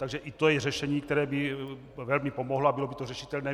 Takže i to je řešení, které by velmi pomohlo, a bylo by to řešitelné.